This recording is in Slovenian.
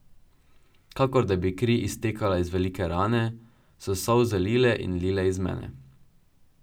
Kakor da bi kri iztekala iz velike rane, so solze lile in lile iz mene.